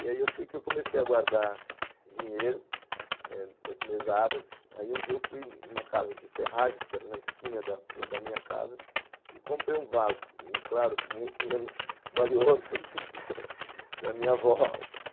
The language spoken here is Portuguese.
E aí eu sei que eu comecei a guardar dinheiro das mesadas, aí um dia eu fui numa casa de ferragens, que era na esquina da rua da minha casa, e comprei um vaso, claro, muito menos valioso, para minha avó